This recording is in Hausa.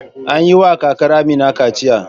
An yi wa kakar Amina kaciya.